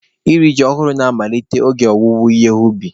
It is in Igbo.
Iri ji ọhụrụ na-amalite oge owuwe ihe ubi.